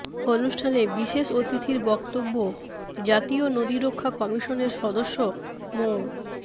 অনুষ্ঠানে বিশেষ অতিথির বক্তব্য জাতীয় নদী রক্ষা কমিশনের সদস্য মো